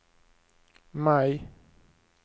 maj